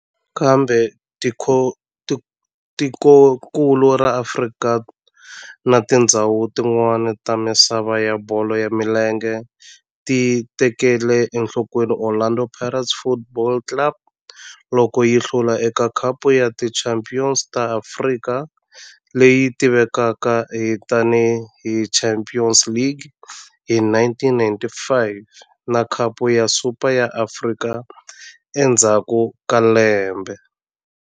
Kambe tikonkulu ra Afrika na tindzhawu tin'wana ta misava ya bolo ya milenge ti tekele enhlokweni Orlando Pirates Football Club loko yi hlula eka Khapu ya Tichampion ta Afrika, leyi tivekaka tani hi Champions League, hi 1995 na Khapu ya Super ya Afrika endzhaku ka lembe.